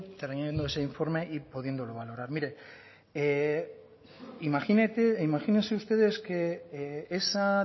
teniendo ese informe y pudiéndolo valorar mire imagínate imagínense ustedes que esa